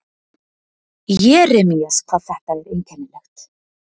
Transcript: Jeremías, hvað þetta er einkennilegt.